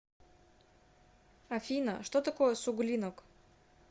афина что такое суглинок